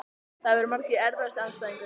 Það voru margir Erfiðasti andstæðingur?